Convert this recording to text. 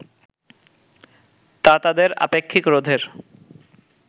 তা তাদের আপেক্ষিক রোধের